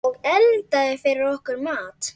Og eldaði fyrir okkur mat.